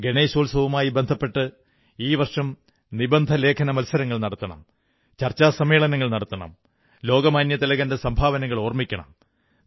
ഗണേശോത്സവുമായി ബന്ധപ്പെട്ട് ഈ വർഷം പ്രബന്ധ ലേഖന മത്സരങ്ങൾ നടത്തണം ചർച്ചാ സമ്മേളനങ്ങൾ നടത്തണം ലോകമാന്യതിലകന്റെ സംഭാവനകൾ ഓർമ്മിക്കണം